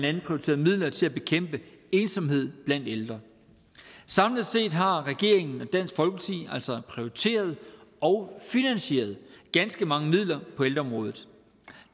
andet prioriteret midler til at bekæmpe ensomhed blandt ældre samlet set har regeringen og dansk folkeparti altså prioriteret og finansieret ganske mange midler på ældreområdet